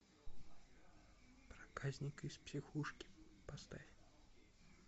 проказник из психушки поставь